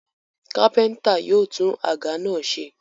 Kápẹ́ńtà yóò tún àga náà ṣe.